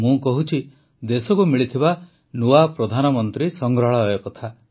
ମୁଁ କହୁଛି ଦେଶକୁ ମିଳିଥିବା ନୂଆ ପ୍ରଧାନମନ୍ତ୍ରୀ ସଂଗ୍ରହାଳୟ କଥା